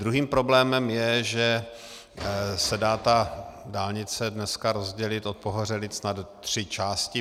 Druhým problémem je, že se dá ta dálnice dneska rozdělit od Pohořelic na tři části.